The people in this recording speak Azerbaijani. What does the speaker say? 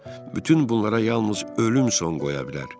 Bütün bunlara yalnız ölüm son qoya bilər.